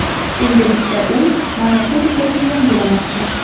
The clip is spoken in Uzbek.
Endilikda u mana shu rekordni yangilamoqchi.